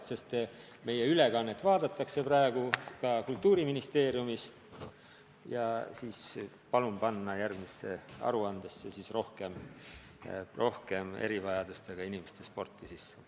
Praegust ülekannet vaadatakse ka Kultuuriministeeriumis ja ma palun, et järgmine aruanne kajastaks ka erivajadustega inimeste sporti.